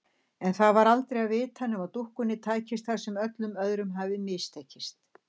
En það var aldrei að vita nema dúkkunni tækist það sem öllum öðrum hafði mistekist.